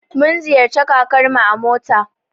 Mun ziyarci kakarmu a mota.